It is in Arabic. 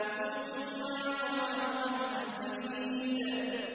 ثُمَّ يَطْمَعُ أَنْ أَزِيدَ